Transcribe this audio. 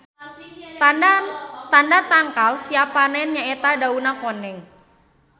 Tanda tangkal siap panen nya eta dauna koneng.